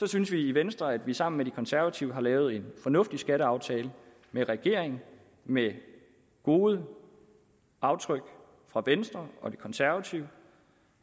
synes vi i venstre at vi sammen med de konservative har lavet en fornuftig skatteaftale med regeringen med gode aftryk fra venstre og de konservative